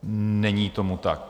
Není tomu tak.